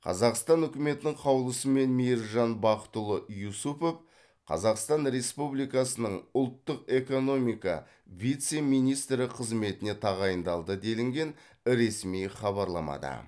қазақстан үкіметінің қаулысымен мейіржан бақытұлы юсупов қазақстан республикасының ұлттық экономика вице министрі қызметіне тағайындалды делінген ресми хабарламада